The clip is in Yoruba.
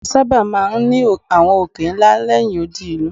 A sábà máa ń àwọn òkè ńlá lẹ́yìn odi ìlú.